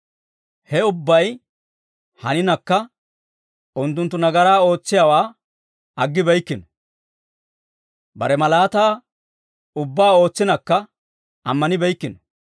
Hawe ubbay haninakka, unttunttu nagaraa ootsiyaawaa aggibeykkino. Bare malaataa ubbaa ootsinakka, ammanibeykkino.